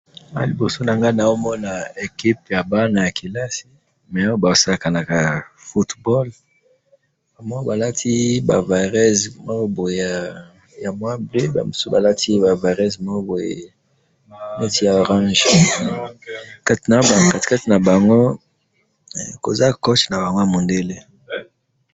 Na liboso na nga nazo mona equipe ya bana ya kelasi mais basakanaka football namoni balati ba vareuse moko boye ya mwa bleu ,ba mususu balati ba vareuse moko boye neti ya orange kati kati na bango koza coach na bango ya mundele